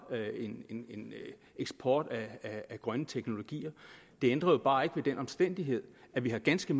en eksport af grønne teknologier det ændrer jo bare ikke ved den omstændighed at vi har ganske